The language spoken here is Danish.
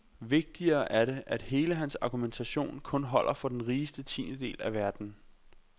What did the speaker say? Vigtigere er det, at hele hans argumentation kun holder for den rigeste tiendedel af verden.